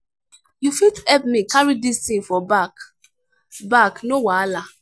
you fit help me carry dis thing for back back no wahala?